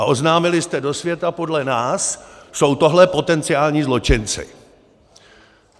A oznámili jste do světa: Podle nás jsou tohle potenciální zločinci!